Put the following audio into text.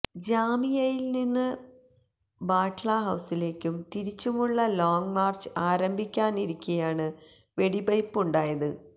ജാമിയയില് നിന്ന് ബാട്ല ഹൌസിലേക്കും തിരിച്ചുമുള്ള ലോങ് മാര്ച്ച് ആരംഭിക്കാനിരിക്കെയാണ് വെടിവയ്പ്പുണ്ടായത്